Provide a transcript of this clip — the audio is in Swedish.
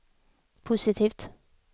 positivt